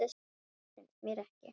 Það finnst mér ekki.